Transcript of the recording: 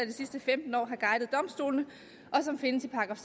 de sidste femten år har guidet domstolene og som findes i §